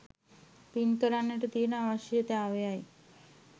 පින් කරගන්න තියෙන අවශ්‍යතාවයයි.